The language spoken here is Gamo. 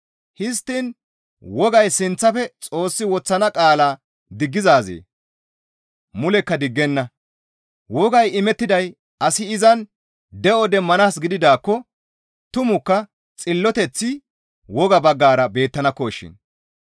Histtiin wogay sinththafe Xoossi woththana qaalaa diggizaazee? Mulekka diggenna; wogay imettiday asi izan de7o demmanaas gididaakko tumukka xilloteththi woga baggara beettanakkoshin.